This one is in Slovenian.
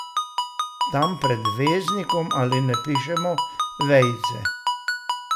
Tam pred veznikom ali ne pišemo vejice.